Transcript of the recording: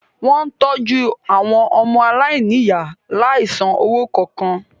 Wó̩n ń tọ́jú àwọn ọmọaláìníìyá láìsan owó kankan